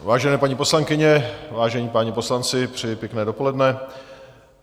Vážené paní poslankyně, vážení páni poslanci, přeji pěkné dopoledne.